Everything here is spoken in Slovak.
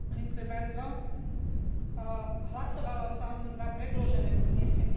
Hlasovala som za predložené uznesenie, no považujem ho za nedostatočné.